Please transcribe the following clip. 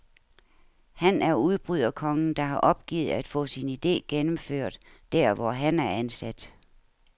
Han er udbryderkongen, der har opgivet at få sin ide gennemført, der hvor han er ansat.